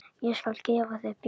Ég skal gefa þér bjór.